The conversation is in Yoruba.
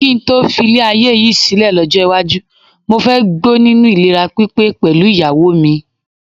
Kí n tó filé ayé yìí sílẹ̀ lọ́jọ́ iwájú, mo fẹ́ gbó nínú ìlera pípé pẹ̀lú ìyàwó mi.